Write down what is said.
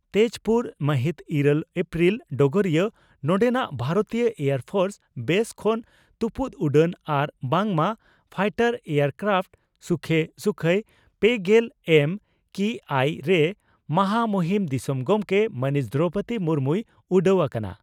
ᱛᱮᱡᱽᱯᱩᱨ ᱢᱟᱦᱤᱛ ᱤᱨᱟᱹᱞ ᱮᱯᱨᱤᱞ (ᱰᱚᱜᱚᱨᱤᱭᱟᱹ) ᱺ ᱱᱚᱰᱮᱱᱟᱜ ᱵᱷᱟᱨᱚᱛᱤᱭᱟᱹ ᱮᱭᱟᱨ ᱯᱷᱳᱨᱥ ᱵᱮᱥ ᱠᱷᱚᱱ ᱛᱩᱯᱩᱫ ᱩᱰᱟᱹᱱ ᱟᱨ ᱵᱟᱝ ᱢᱟ fighter aircraft Sukhoi Sukhoi ᱯᱮᱜᱮᱞ ᱮᱢ ᱠᱤ ᱟᱭ ᱨᱮ ᱢᱟᱦᱟ ᱢᱩᱦᱤᱱ ᱫᱤᱥᱚᱢ ᱜᱚᱢᱠᱮ ᱢᱟᱹᱱᱤᱡ ᱫᱨᱚᱣᱯᱚᱫᱤ ᱢᱩᱨᱢᱩᱭ ᱩᱰᱟᱹᱣ ᱟᱠᱟᱱᱟ ᱾